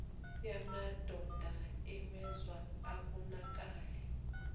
yamadoda iwenza abonakale